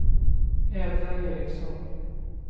Edla Ericson